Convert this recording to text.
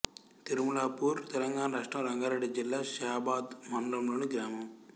తిరుమలాపూర్ తెలంగాణ రాష్ట్రం రంగారెడ్డి జిల్లా షాబాద్ మండలంలోని గ్రామం